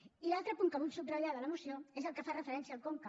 i l’altre punt que vull subratllar de la moció és el que fa referència al conca